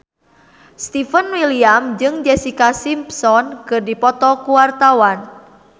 Stefan William jeung Jessica Simpson keur dipoto ku wartawan